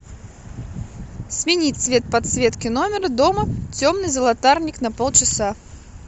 сменить цвет подсветки номера дома темный золотарник на полчаса